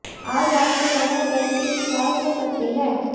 आज आपको कमर दर्द की शिकायत हो सकती है